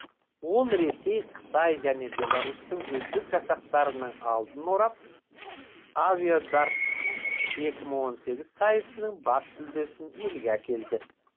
ол ресей қытай және беларусьтің үздік жасақтарының алдын орап авиадартс екі мың он сегіз сайысының бас жүлдесін елге әкелді